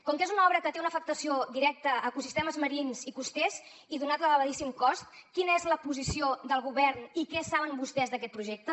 com que és una obra que té una afectació directa a ecosistemes marins i costers i donat l’elevadíssim cost quina és la posició del govern i què saben vostès d’aquest projecte